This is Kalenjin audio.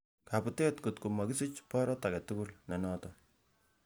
Kabutet ng'ot komokisich borot agetugul nenoton.